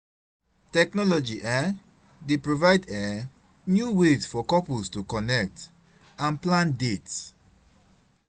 Technology um dey provide um new ways for couples to connect and plan dates.